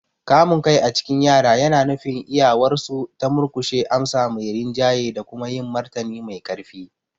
Kamun kai a cikin yara yana nufin iyawarsu ta murkushe amsa mai rinjaye da kuma yin martani mai ƙarfi.